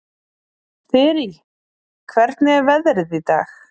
Þyrí, hvernig er veðrið í dag?